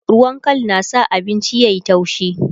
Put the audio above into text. ruwan Kal na sa abinci yayi taushi